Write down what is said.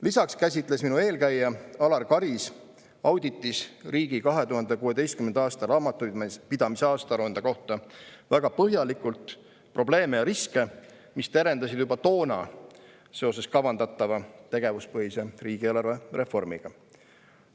Lisaks käsitles minu eelkäija Alar Karis auditis riigi 2016. aasta raamatupidamise aastaaruande kohta väga põhjalikult probleeme ja riske, mis terendasid juba toona seoses kavandatava tegevuspõhise riigieelarve reformiga.